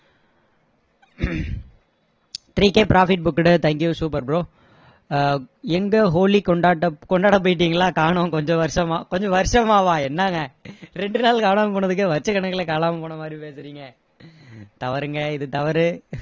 three K profit booked thank you super bro அஹ் எங்க ஹோலி கொண்டாட்ட கொண்டாட போயிட்டீங்களா காணோம் கொஞ்ச வருஷமா கொஞ்ச வருஷமாவா என்னங்க இரண்டு நாள் காணாம போனதுக்கே வருஷ கணக்குல காணாம போன மாதிரி பேசுறீங்க தவறுங்க இது தவறு